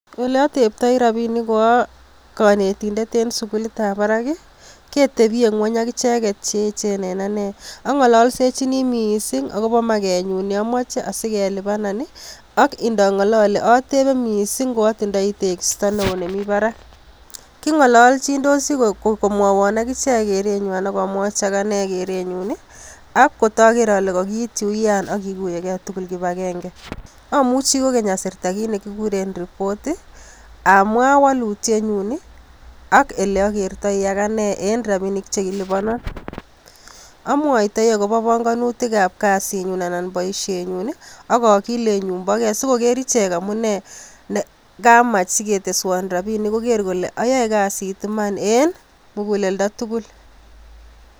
Eleateptoi rapinik ko akonetindet en sukulitab barak ketebye ngweny akicheket cheechen en anee ang'ololsechin mising akopo makenyun neamoche sikelipanan ak ndong'olole atepee mising ko atindoi tekisto neo nemi barak, king'ololchindosi komwowon akichek kerenywa ako mwochi agane kerenyun akotoker ale kokiityi uyan akikuyeke tugul kipakenge amuchi kokenye asirta kit nekikuren report amwa wolutienyun ak eleakertoi akanee en rapinik chekilipanon amwaitoi akopo bongonutikab kasinyun anan boisienyun akokilenyun po ge sikoker ichek amunee kamach siketeshwon rapinik koker kole ayoe kasit iman en mukuleldo tugul.